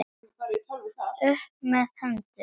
Upp með hendur!